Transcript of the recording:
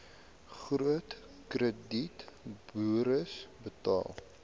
groot kredietburos betaal